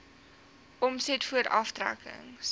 omset voor aftrekkings